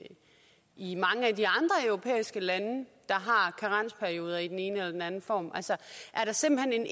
i mange af de andre europæiske lande har karensperioder i den ene eller den anden form altså er der simpelt